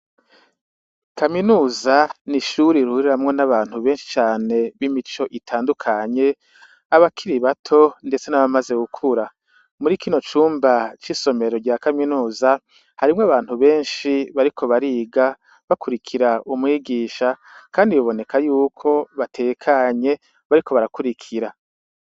Kaminuza ni ishure rihuriramwo n'abantu benshi cane b'imico itandukanye, abakiri bato ndetse n'abamaze gukura. Muri kino cumba c'isomero rya kaminuza, harimwo abantu benshi bariko bariga, bakurikira umwigisha, kandi biboneka yuko batekanye bariko barakurikira.